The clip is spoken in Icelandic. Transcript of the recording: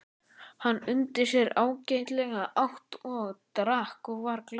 Hann undi sér ágætlega, át og drakk og var glaður.